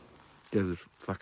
gerður þakka